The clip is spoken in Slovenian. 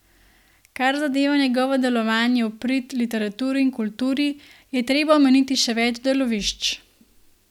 Kar zadeva njegovo delovanje v prid literaturi in kulturi, je treba omeniti še več delovišč.